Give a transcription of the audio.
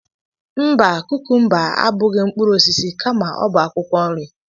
Mba, kukumba abụghị mkpụrụ osisi kama ọ bụ akwụkwọ nri.